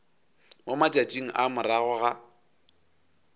mo matšatšing a morago ga